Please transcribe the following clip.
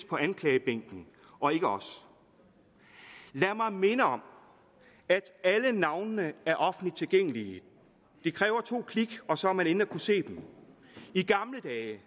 på anklagebænken og ikke os lad mig minde om at alle navnene er offentligt tilgængelige det kræver to klik og så er man inde og kan se dem i gamle dage